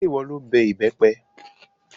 Ṣé ìwọ lo bẹ ìbẹ́pẹ?